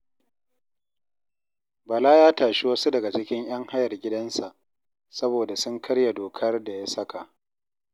Bala ya tashi wasu daga cikin ‘yan hayar gidansa saboda sun karya dokar da ya saka